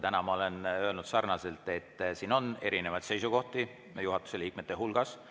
Täna ma olen öelnud, et siin on erinevaid seisukohti, ka juhatuse liikmete hulgas.